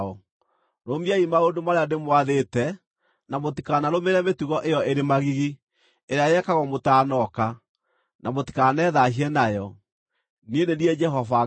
Rũmiai maũndũ marĩa ndĩmwathĩte na mũtikanarũmĩrĩre mĩtugo ĩyo ĩrĩ magigi, ĩrĩa yekagwo mũtaanoka, na mũtikanethaahie nayo. Niĩ nĩ niĩ Jehova Ngai wanyu.’ ”